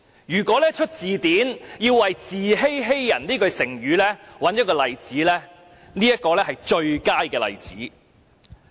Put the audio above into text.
如要編製一本字典，為"自欺欺人"這句成語舉出一個例子，相信這會是最佳的事例。